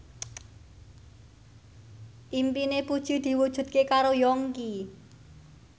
impine Puji diwujudke karo Yongki